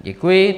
Děkuji.